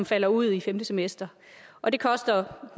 falder ud i femte semester og det koster